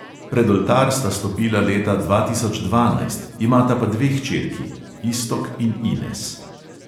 Pred oltar sta stopila leta dva tisoč dvanajst, imata pa dve hčerki: iztok in ines.